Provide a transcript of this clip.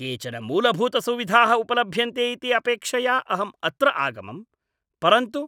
केचन मूलभूतसुविधाः उपलभ्यन्ते इति अपेक्षया अहम् अत्र आगमम्, परन्तु